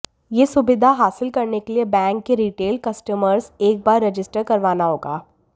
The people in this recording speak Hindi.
यह सुविधा हासिल करने के लिए बैंक के रिटेल कस्टमर्स एक बार रजिस्टर करवाना होगा